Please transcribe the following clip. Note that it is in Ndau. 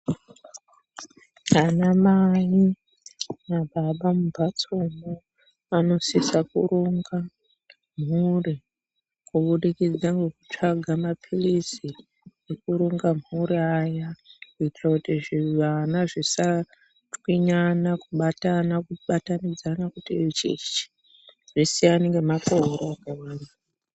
Ana mai nababa mumbatsomwo vanosisa kuronga mhuri kubudikidza ngekutsvaga mapilizi ekuronga mhuri aya kuitira kuti zvivana zvisa chwinyana kubatana ,zvisiyane ngemakore.